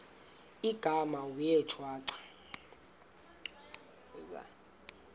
igama wee shwaca